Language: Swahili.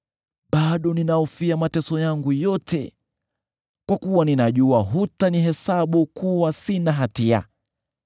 bado ninahofia mateso yangu yote, kwa kuwa ninajua hutanihesabu kuwa sina hatia.